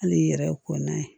Hali i yɛrɛ kɔnna ye